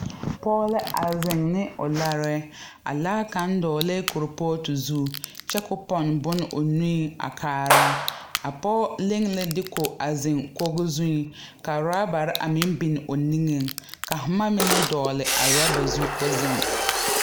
Pͻge la a zeŋe ne o larԑԑ. A laa kaŋa dͻgelԑԑ kuripootu zuŋ kyԑ koo pͻne bone o nuiŋ a kaara. A pͻge leŋe la diiku a zeŋ kogi zuŋ ka oorabare a meŋ biŋ o niŋeŋ ka boma mine dͻgele a oraba zu koo zeŋ.